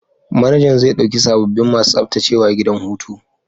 Manajan zai dauki sababbin masu tsaftacewa gidan hutu.